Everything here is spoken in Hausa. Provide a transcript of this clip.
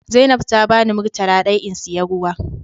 Zainab ta bani murtala daya in siya ruwa.